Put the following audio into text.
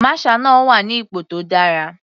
Masher náà wà ní ipò tó dára.